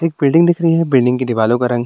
एक बिल्डिंग दिख रही है बिल्डिंग की दिवालो का रंग --